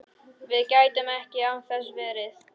Við gætum ekki án þess verið